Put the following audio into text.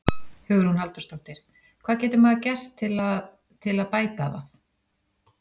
Hugrún Halldórsdóttir: Hvað getur maður gert til að, til að bæta það?